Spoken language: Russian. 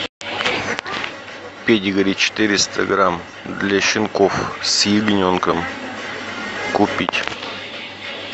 педигри четыреста грамм для щенков с ягненком купить